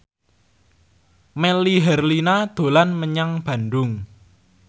Melly Herlina dolan menyang Bandung